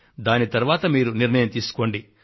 దాని తరువాత మీరు నిర్ణయం తీసుకోండి